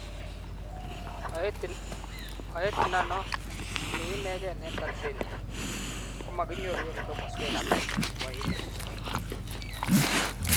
Oet inano ni inegen en Tanzania, komakiyoru en komoswek alak chepo emet